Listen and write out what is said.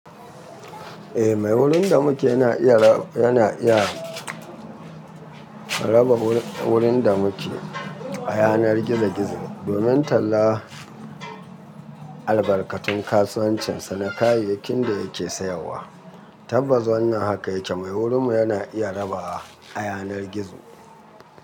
Eh mai wurin da muke yana iya, yana iya raba wurin da muke a yanar gizo-gizo. Domin talla albarkatun kasuwancin sa na kayayyakin da yake sayarwa. Tabbas wannan haka yake mai wurin mu yana iya rabawa a yanar gizo.